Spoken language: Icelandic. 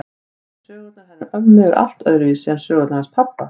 En sögurnar hennar ömmu eru allt öðruvísi en sögurnar hans pabba.